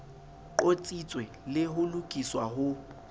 qotsitswe le ho lokiswa ho